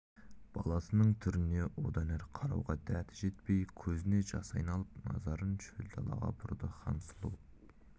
баласының түріне одан әрі қарауға дәті жетпей көзіне жас айналып назарын шөл далаға бұрды хансұлу